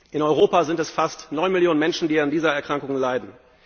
In Europa sind es fast neun Millionen Menschen, die an dieser Erkrankung leiden.